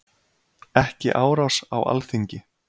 Ekki árás á Alþingi